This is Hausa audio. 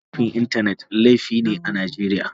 Laifin Intanet laifi ne a Najeriya.